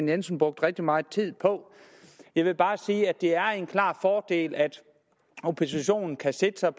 jensen brugt rigtig meget tid på jeg vil bare sige at det er en klar fordel at oppositionen kan sætte sig